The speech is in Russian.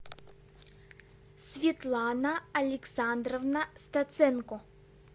светлана александровна стаценко